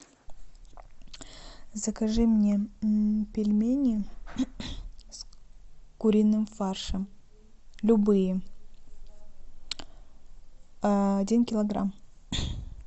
закажи мне пельмени с куриным фаршем любые один килограмм